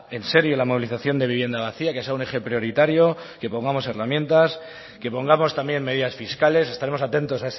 en serio la movilización de vivienda vacía que sea un eje prioritario que pongamos herramientas que pongamos también medidas fiscales estaremos atentos